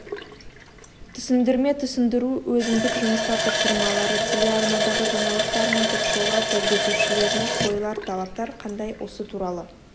түсіндірме түсіндіру өзіндік жұмыстар тапсырмалары телеарнадағы жаңалықтар мен ток-шоулар жүргізушілеріне қойылар талаптар қандай осы туралы